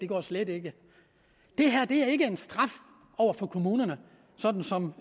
går slet ikke det her er ikke en straf over for kommunerne sådan som